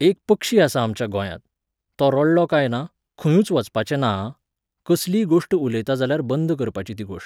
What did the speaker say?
एक पक्षी आसा आमच्या गोंयांत. तो रडलो काय ना, खंयूय वचपाचें ना आं, कसलीय गोश्ट उलयता जाल्यार बंद करपाची ती गोश्ट